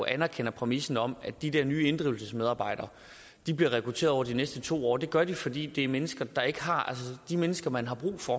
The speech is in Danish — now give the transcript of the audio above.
anerkender præmissen om at de der nye inddrivelsesmedarbejdere bliver rekrutteret over de næste to år det gør de fordi de mennesker de mennesker man har brug for